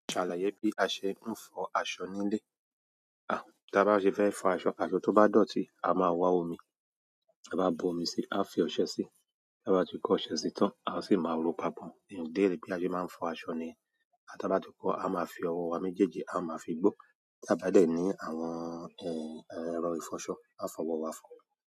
Ṣàlàyé bí a ṣe ń fọ aṣọ nílé. À, tí a bá ṣe fẹ́ fọ aṣọ, aṣọ tó bá dọ̀tí, a máa wá omi. Táa bá bu omi síi, á á fi ọṣẹ síi, tá a bá ti kó ọṣẹ síi tán, áá sì máa rò ó papọ̀. Òdérè bí a ṣe máa ń fọ aṣọ ni. A bá túkọ̀, a máa fi ọwọ́ wa méjèèjì, a máa fi gbó. Tí a bá dẹ̀ ní àwọn, ẹ, ẹ, ẹ̀rọ ìfọṣọ, a fọ ọwọ́ wa fọ.